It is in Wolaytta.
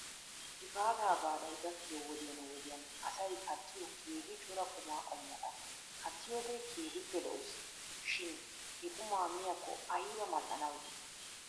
Gifaataa baalay gakkiyoo wodiyan wodiyan asay kattiyoo keehi cora qumaa qommota kattiyoogee keehippe lo'es shin he qumaa miyaakko ayba mal'anaw dii?